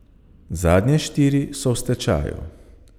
Zadnje štiri so v stečaju.